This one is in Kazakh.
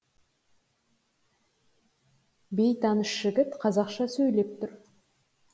бейтаныс жігіт қазақша сөйлеп тұр